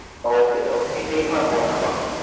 Okay okay take my phone number